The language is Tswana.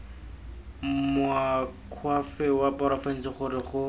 moakhaefe wa porofense gore go